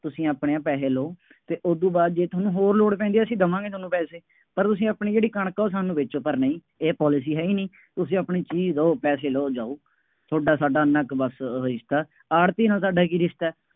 ਤੁਸੀਂ ਆਪਣੇ ਆਹ ਪੈਸੇ ਲਉ ਅਤੇ ਉਦੋਂ ਬਾਅਦ ਜੇ ਤੁਹਾਨੂੰ ਹੋਰ ਲੋੜ ਪੈਂਦੀ ਹੈ ਅਸੀਂ ਦੇਵਾਂਗੇ ਤੁਹਾਨੂੰ ਪੈਸੇ, ਪਰ ਤੁਸੀਂ ਆਪਣੀ ਜਿਹੜੀ ਕਣਕ ਹੈ ਉਹ ਸਾਨੂੰ ਵੇਚੋ, ਪਰ ਨਹੀਂ, ਇਹ policy ਹੈ ਹੀ ਨਹੀਂ, ਤੁਸੀਂ ਆਪਣੀ ਚੀਜ਼ ਦਿਉ, ਪੈਸੇ ਲਉ ਜਾਉ। ਤੁਹਾਡਾ ਸਾਡਾ ਐਨਾ ਕੁ ਬੱਸ ਅਹ ਰਿਸ਼ਤਾ, ਆੜ੍ਹਤੀਏ ਨਾਲ ਤੁਹਾਡਾ ਕੀ ਰਿਸ਼ਤਾ,